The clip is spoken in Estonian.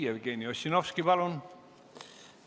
Jevgeni Ossinovski, palun!